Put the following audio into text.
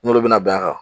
N'olu bɛna bɛn a kan